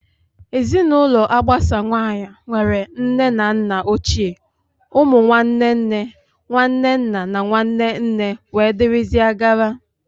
Ezinụlọ agbasawanye nwere nne na nna ochie, ụmụ nwanne nne, nwanne nna na nwanne nne wdg